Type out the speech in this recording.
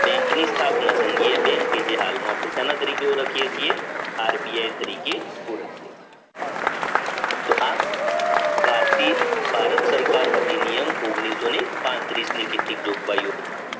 બેંકની સ્થાપના થંગીએ બેંકે જે હાલમાં તરીકે ઓળખીએ છીએ આરબીઆઈ તરીકે ઓળખીએ તો આ ભારતીય ભારત સરકાર અધિનિયમ ની કેટલીક જોગવાઈઓ હતી